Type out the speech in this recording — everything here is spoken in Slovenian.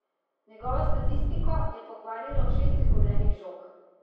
Njegovo statistiko je pokvarilo šest izgubljenih žog.